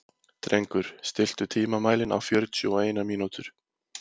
Drengur, stilltu tímamælinn á fjörutíu og eina mínútur.